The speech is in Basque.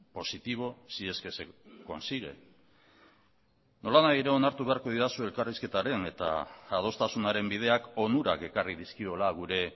positivo si es que se consigue nolanahi ere onartu beharko didazue elkarrizketaren eta adostasunaren bideak onurak ekarri dizkiola gure